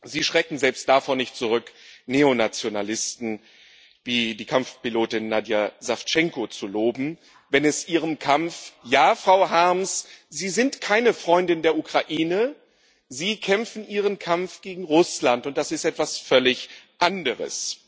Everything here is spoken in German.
Sie schrecken selbst davor nicht zurück, Neonationalisten wie die Kampfpilotin Nadija Sawtschenko zu loben, wenn es Ihrem Kampf ja, Frau Harms, Sie sind keine Freundin der Ukraine, Sie kämpfen Ihren Kampf gegen Russland, und das ist etwas völlig anderes.